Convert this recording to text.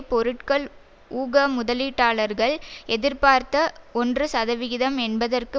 பொருட்கள் ஊக முதலீட்டாளர்கள் எதிர்பார்த்த ஒன்றுசதவிகிதம் என்பதற்கு